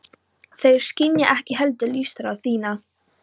Þeir skynja ekki heldur lífsþrá þína.